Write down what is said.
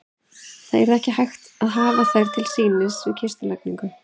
Það yrði ekki hægt að hafa þær til sýnis við kistulagningu.